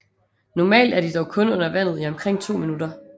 Normalt er de dog kun under vandet i omkring to minutter